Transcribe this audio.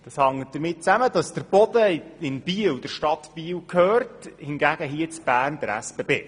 Das hängt damit zusammen, dass in Biel der Boden der Stadt gehört, in Bern hingegen der SBB.